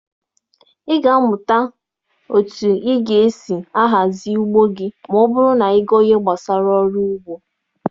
Ị ga-amụta otu ị ga-esi ahazi ugbo gị ma ọ bụrụ na ị gụọ ihe gbasara ọrụ ugbo.